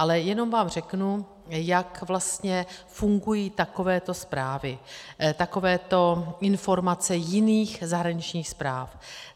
Ale jenom vám řeknu, jak vlastně fungují takovéto zprávy, takovéto informace jiných zahraničních správ.